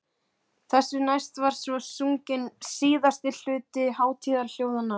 Þessu næst var svo sunginn síðasti hluti hátíðaljóðanna.